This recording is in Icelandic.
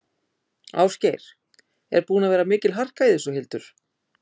Ásgeir: Er búin að vera mikil harka í þessu, Hildur?